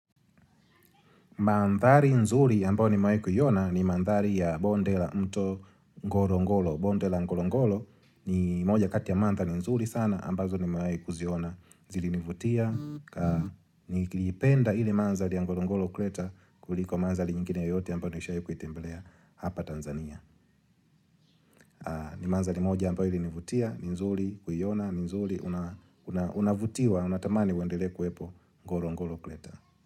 Mandhari nzuri ambayo nimahi kuiona ni mandhari ya bonde la mto ngorongolo. Bonde la ngorongoro ni moja kati ya mandhari nzuri sana ambazo nimewai kuziona zilinivutia. Nikipenda ili mandhari ya ngorongoro kreta kuliko mandhali nyingine yote ambao nishawai kuitembelea hapa Tanzania. Ni mandhari moja ambayo ilinivutia ni nzuri kuiona ni nzuri una unavutiwa unatamani uendelee kuwepo ngorongoro kreta.